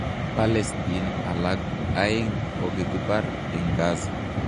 Palestine alak aegn kokokipar en Gaza